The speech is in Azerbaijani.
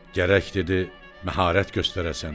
“Gərək, – dedi, – məharət göstərəsən.